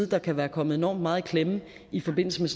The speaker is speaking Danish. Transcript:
der kan være kommet enormt meget i klemme i forbindelse med